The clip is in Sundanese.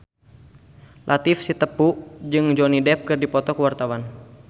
Latief Sitepu jeung Johnny Depp keur dipoto ku wartawan